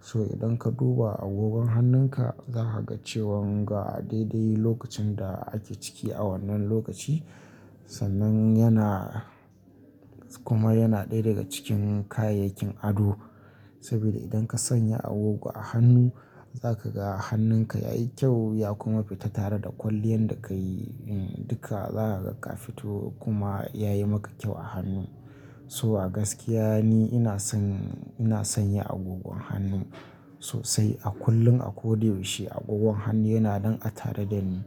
so idan ka duba agogon hannunka zaka ga cewan ga daidai lokacin da ake ciki a wannan lokaci. Sannan yana kuma yana ɗaya daga cikin kayayyakin ado saboda idan ka sanya agogo a hannu zaka ga hannunka yayi kyau ya kuma fita tare da kwalliyan da ka yi duka za ka ga fito kuma ya yi maka kyau a hannun. So a gaskiya ni ina son, ina son yi agogon hannun sosai a kullum a ko da yaushe agogon hannu yana nan a tare da ni.